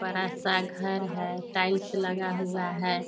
बड़ा-सा घर है टाइल्स लगा हुआ है।